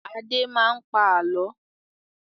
Adé máa ń pa àálọ́.